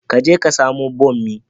Ka je ka samo bommi